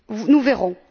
Nous verrons!